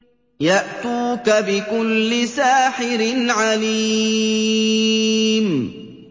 يَأْتُوكَ بِكُلِّ سَاحِرٍ عَلِيمٍ